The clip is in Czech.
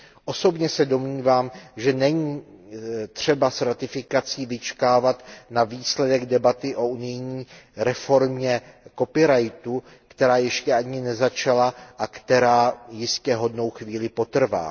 Osobně se domnívám, že není třeba s ratifikací vyčkávat na výsledek debaty o unijní reformě copyrightu, která ještě ani nezačala a která jistě hodnou chvíli potrvá.